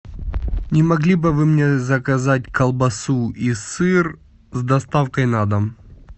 не могли бы вы мне заказать колбасу и сыр с доставкой на дом